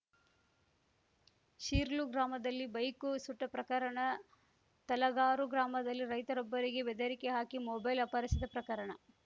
ಶೀರ್ಲು ಗ್ರಾಮದಲ್ಲಿ ಬೈಕು ಸುಟ್ಟಪ್ರಕರಣ ತಲಗಾರು ಗ್ರಾಮದಲ್ಲಿ ರೈತರೊಬ್ಬರಿಗೆ ಬೆದರಿಕೆ ಹಾಕಿ ಮೊಬೈಲ್‌ ಅಪಹರಿಸಿದ ಪ್ರಕರಣ